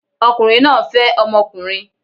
Ọkùnrin náà ń fẹ́ ọmọkùnrin